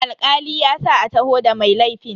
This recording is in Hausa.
Alkali ya sa a taho da mai laifin.